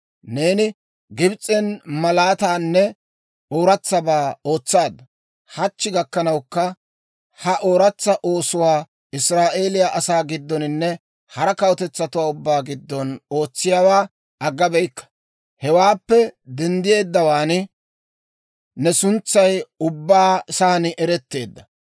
«Neeni Gibs'en malaataanne ooratsabaa ootsaadda; hachchi gakkanawukka ha ooratsa oosotuwaa Israa'eeliyaa asaa giddoninne hara kawutetsatuwaa ubbaa giddon ootsiyaawaa agga beyikka. Hewaappe denddeeddawaan ne suntsay ubba saan eretteedda.